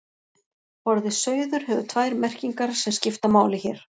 Orðið sauður hefur tvær merkingar sem skipta máli hér.